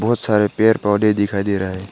बहोत सारे पेड़ पौधे दिखाई दे रहा है।